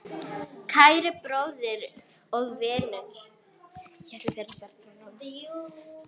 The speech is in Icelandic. Kæri bróðir og vinur.